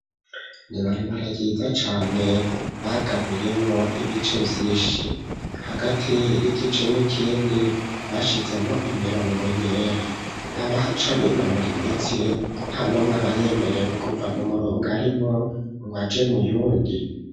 Ibarabara ryiza cane bagabuyemwo ibice vyinshihagati y'igice n'ikindi basizemwo imirongo yera, abahaca binonor'imitsi ,nta numwe aba yemerewe kuva mu murongo umwe ngwaje muwundi.